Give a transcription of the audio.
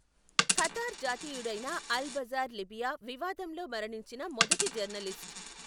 Qatar జాతీయుడైన Al Jaber Libya వివాదంలో మరణించిన మొదటి జర్నలిస్ట్.